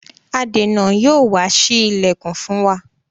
adèna Yóò wá sí ilẹkùn fún wá.